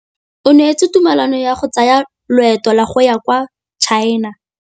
O neetswe tumalanô ya go tsaya loetô la go ya kwa China.